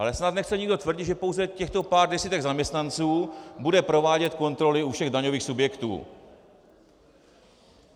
Ale snad nechce nikdo tvrdit, že pouze těchto pár desítek zaměstnanců bude provádět kontroly u všech daňových subjektů?